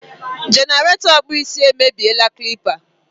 jenerato okpu isi e me bie la clipa